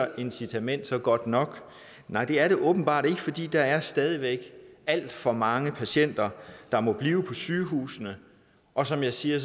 incitament så godt nok nej det er det åbenbart ikke fordi der stadig væk er alt for mange patienter der må blive på sygehusene og som jeg siger